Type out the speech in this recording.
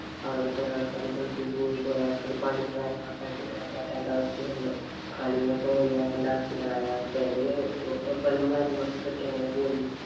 കൊറേ ആള്‍ക്കാര് ഗള്‍ഫില് പോയി. കൊറേ ആള്‍ക്കാര് പണീം കാര്യങ്ങളുമായി പറ്റാത്ത അവസ്ഥയിലാണ്. കളിന്നൊക്കെ ഒഴിവാക്കാണ്ടാന്നു വച്ച് അതായത് ചെലര് പെണ്ണും കാര്യങ്ങളും കെട്ടി അങ്ങനെ പോയി.